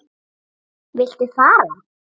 Viltu far?